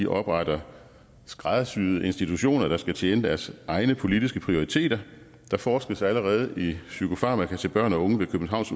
opretter skræddersyede institutioner der skal tjene deres egne politiske prioriteter der forskes allerede i psykofarmaka til børn og unge ved københavns